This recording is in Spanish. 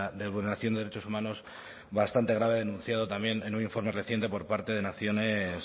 de vulneración de derechos humanos bastante grave denunciado también en un informe reciente por parte de naciones